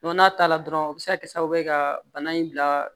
n'a ta la dɔrɔn o bɛ se ka kɛ sababu ye ka bana in bila